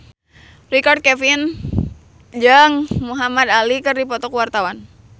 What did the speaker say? Richard Kevin jeung Muhamad Ali keur dipoto ku wartawan